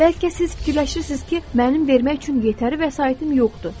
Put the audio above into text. Bəlkə siz fikirləşirsiz ki, mənim vermək üçün yetəri vəsaitim yoxdur.